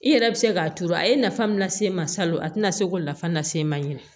I yɛrɛ bɛ se k'a turu a ye nafa min lase e ma salon a tɛna se k'o nafa lase e ma